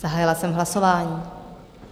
Zahájila jsem hlasování.